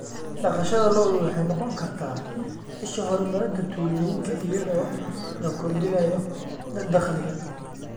Dhaqashada lo'du waxay noqon kartaa isha horumarinta tuulooyinka iyadoo la kordhinayo dakhliga.